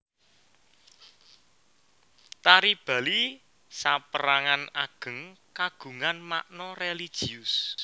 Tari Bali sapérangan ageng kagungan makna religius